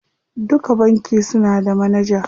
Duka banki suna da manaja.